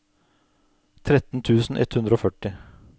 tretten tusen ett hundre og førti